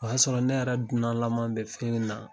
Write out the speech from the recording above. O y'a sɔrɔ ne yɛrɛ dunanlama bɛ fɛn in na